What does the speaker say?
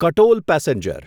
Katol passenger